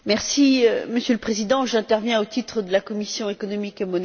Monsieur le Président, j'interviens au titre de la commission économique et monétaire.